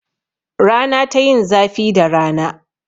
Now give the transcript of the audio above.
Rana ta yin zafi da rana.